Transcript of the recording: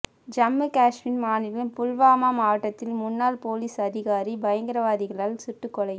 ஜம்மு காஷ்மீர் மாநிலம் புல்வாமா மாவட்டத்தில் முன்னாள் போலீஸ் அதிகாரி பயங்கரவாதிகளால் சுட்டுக் கொலை